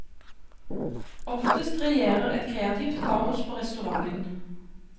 Oftest regjerer et kreativt kaos på restauranten.